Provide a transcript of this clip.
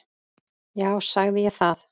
Já, sagði ég það?